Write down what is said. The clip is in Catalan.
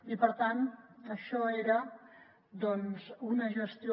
i per tant això era una gestió